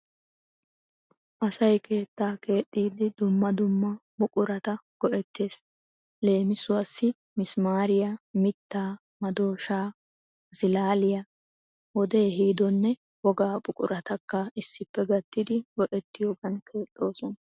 Asay keettaa keexxiiddi dumma dumma buqurata go'ettees. Leemisuwassi misimaariya, mittaa, madooshaa, masalaiya, wodee ehiidonne wogaa buquratakka issippe gattididi go'ettiyogan keexxoosona.